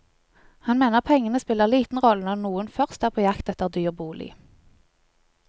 Han mener pengene spiller liten rolle når noen først er på jakt etter en dyr bolig.